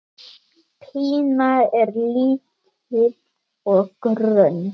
Pína er lítil og grönn.